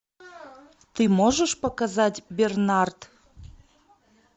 ты можешь показать бернард